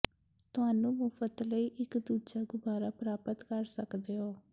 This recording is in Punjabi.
ਤੁਹਾਨੂੰ ਮੁਫ਼ਤ ਲਈ ਇੱਕ ਦੂਜਾ ਗੁਬਾਰਾ ਪ੍ਰਾਪਤ ਕਰ ਸਕਦੇ ਹੋ